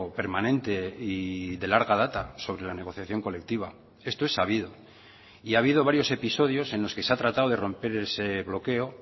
permanente y de larga data sobre la negociación colectiva esto es sabido y ha habido varios episodios en los que se ha tratado de romper ese bloqueo